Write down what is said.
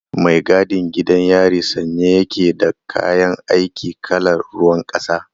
Mai gadin gidan yari sanye ya ke da kayan aiki kalar ruwan kasa.